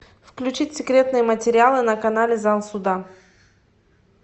включить секретные материалы на канале зал суда